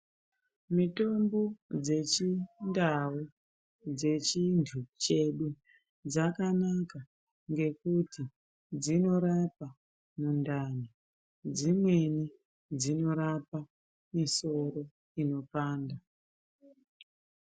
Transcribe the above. Mitombo dzeChiNdau dzechintu chedu dzakanaka ngekuti dzinorapa mundani dzimweni dzinorapa musoro unopanda.